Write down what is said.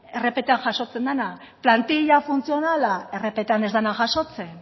rptan jasotzen dena plantilla funtzionala rptan ez dena jasotzen